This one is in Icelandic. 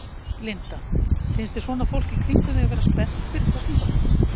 Linda: Finnst þér svona fólk í kringum þig vera spennt fyrir kosningunum?